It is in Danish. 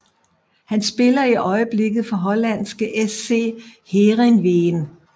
Han spiller i øjeblikket for hollandske SC Heerenveen